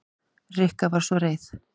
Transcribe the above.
Rikka var svo reið.